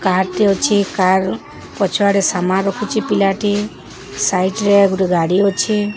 Car ଟେ ଅଛେ। Car ପଛଆଡ଼େ ସାମାନ ରଖୁଚେ ପିଲାଟି। ସାଇଟ୍ ରେ ଗୋଟେ ଗାଡ଼ି ଅଛେ।